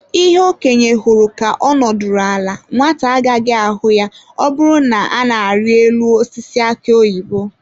Ihe okenye hụrụ ka ọ nọdụrụ ala, nwata agaghị ahụ ya ọbụna na-arị elu osisi aki oyibo.